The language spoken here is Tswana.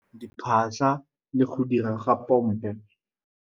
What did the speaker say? Diphatlha le go dira ga pompo.